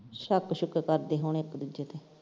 ਸ਼ੱਕ ਸ਼ੁੱਕ ਕਰਦੇ ਹੋਣੇ ਇੱਕ ਦੂਜੇ ਤੇ।